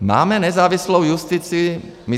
Máme nezávislou justici.